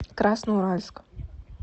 красноуральск